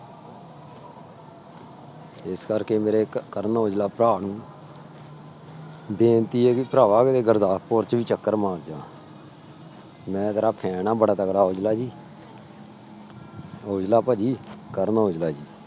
ਇਸ ਕਰਕੇ ਮੇਰੇ ਕ ਕਰਨ ਔਜਲਾ ਭਰਾ ਨੂੰ ਬੇਨਤੀ ਹੈ ਵੀ ਭਰਾਵਾ ਵੀ ਗੁਰਦਾਸਪੁਰ ਚ ਵੀ ਚੱਕਰ ਮਾਰ ਜਾ ਮੈਂ ਤੇਰਾ fan ਆ ਬੜਾ ਤਕੜਾ ਔਜਲਾ ਜੀ ਔਜਲਾ ਭਾਜੀ ਕਰਨ ਔਜਲਾ ਜੀ।